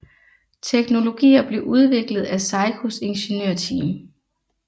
Teknologier blev udviklet af Seikos ingeniørteam